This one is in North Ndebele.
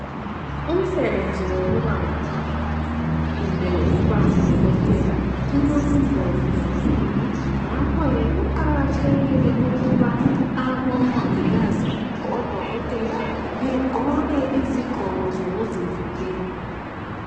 umsebenzi wokuba ngumongikazi kumbe ukubangu dokotela kulobungozi kakhulu ngakhoke kuqhakathekile abomongikazi odokotela begqoke izigqoko zokuzivikela